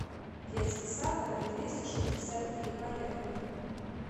детский сад номер двести шестьдесят три поехали